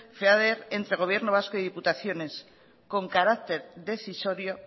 feader entre gobierno vasco y diputaciones con carácter decisorio